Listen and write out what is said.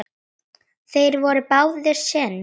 Þeir voru báðir séní.